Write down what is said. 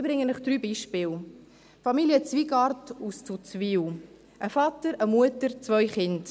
Ich nenne Ihnen drei Beispiele: Familie Zwygart aus Zuzwil, ein Vater, eine Mutter, zwei Kinder.